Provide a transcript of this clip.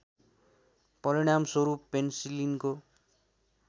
परिणाम स्वरूप पेन्सिलिनको